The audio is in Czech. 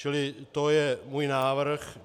Čili to je můj návrh.